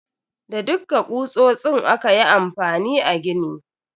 Da dukka kutsotsin aka yi amfani a gini.